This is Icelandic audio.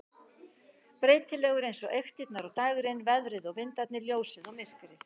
Breytilegur eins og eyktirnar og dægrin, veðrið og vindarnir, ljósið og myrkrið.